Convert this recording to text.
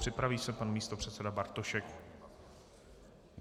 Připraví se pan místopředseda Bartošek.